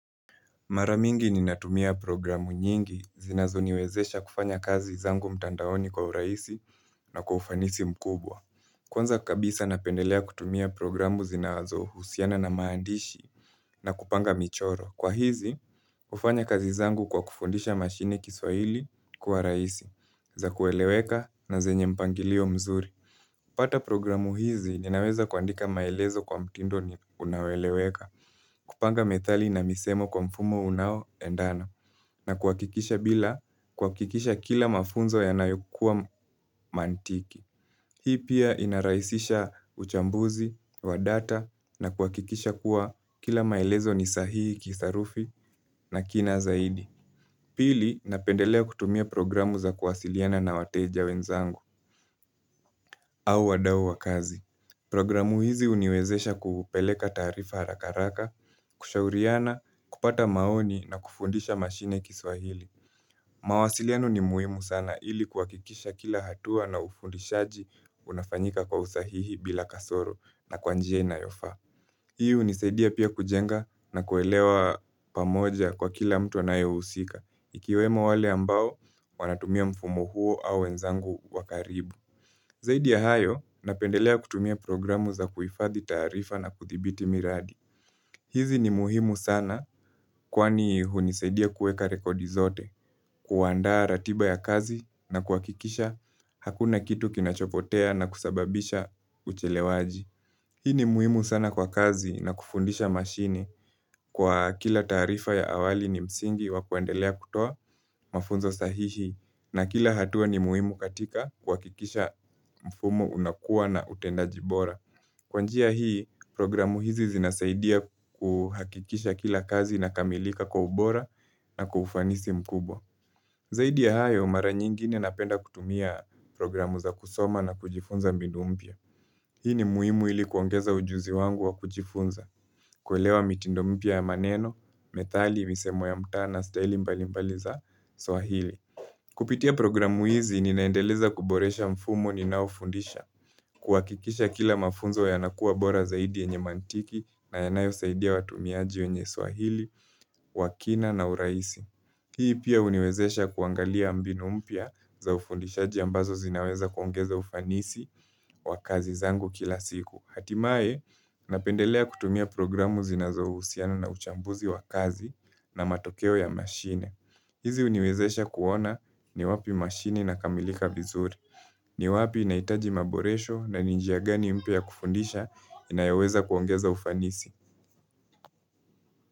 Mara mingi ni natumia programu nyingi zinazo niwezesha kufanya kazi zangu mtandaoni kwa urahisi na kufanisi mkubwa Kwanza kabisa napendelea kutumia programu zinazo husiana na maandishi na kupanga michoro Kwa hizi ufanya kazi zangu kwa kufundisha mashini kiswaili kuwa rahisi za kueleweka na zenye mpangilio mzuri pata programu hizi linaweza kuandika maelezo kwa mtindo ni unaoeleweka kupanga methali na misemo kwa mfumo unao endana na kuakikisha bila kuakikisha kila mafunzo yanayokuwa mantiki. Hii pia inaraisisha uchambuzi, wadata na kuakikisha kuwa kila maelezo nisahihi kisarufi na kina zaidi. Pili napendelea kutumia programu za kuwasiliana na wateja wenzangu au wadao wakazi. Programu hizi uniwezesha kupeleka tarifa harakaraka, kushauriana, kupata maoni na kufundisha mashine kiswahili. Mawasiliano ni muihmu sana ili kwa kuhakikisha kila hatua na ufundishaji unafanyika kwa usahihi bila kasoro na kwa njia inayofa. Hii ni saidia pia kujenga na kuelewa pamoja kwa kila mtu anayousika. Ikiwemo wale ambao wanatumia mfumo huo au wenzangu wakaribu. Zaidi ya hayo, napendelea kutumia programu za kuifathi tarifa na kuthibiti miradi. Hizi ni muhimu sana kwani hunisaidia kuweka rekodi zote, kuwanda ratiba ya kazi na kuwakikisha hakuna kitu kinachopotea na kusababisha uchelewaji. Hii ni muhimu sana kwa kazi na kufundisha mashini kwa kila tarifa ya awali ni msingi wakuendelea kutoa mafunzo sahihi na kila hatua ni muhimu katika kwa kikisha mfumo unakuwa na utenda jibora. Kwanjia hii, programu hizi zinasaidia kuhakikisha kila kazi na kamilika kwa ubora na kufanisi mkubwa. Zaidi ya hayo, mara nyingine napenda kutumia programu za kusoma na kujifunza mbinu mpia. Hii ni muhimu ili kuongeza ujuzi wangu wa kujifunza, kuelewa mitindo mpia ya maneno, metali, misemo ya mtana, staili mbali mbali za swahili. Kupitia programu hizi ni naendeleza kuboresha mfumo ni naofundisha, kuwakikisha kila mafunzo ya nakuwa bora zaidi enye mantiki na yanayo saidia watumiaji wenye swahili, wakina na uraisi. Hii pia uniwezesha kuangalia ambinu mpia za ufundishaji ambazo zinaweza kuongeza ufanisi wa kazi zangu kila siku. Hatimae, napendelea kutumia programu zina za usiana na uchambuzi wa kazi na matokeo ya mashine. Hizi uniwezesha kuona ni wapi mashini na kamilika vizuri. Ni wapi inaitaji maboresho na ninjia gani mpia kufundisha inayaweza kuongeza ufanisi.